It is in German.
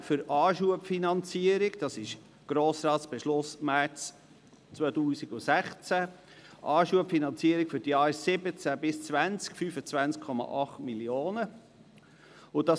Danach wurden gemäss dem Grossratsbeschluss vom März 2016 für die Anschubfinanzierung der Jahre 2017–2020 20,8 Mio. Franken bezahlt.